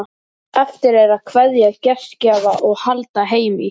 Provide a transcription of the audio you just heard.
Eftir er að kveðja gestgjafa og halda heim í